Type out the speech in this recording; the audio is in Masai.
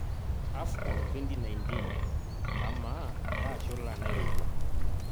AFCON2019; Kamaa kaa shula nairowua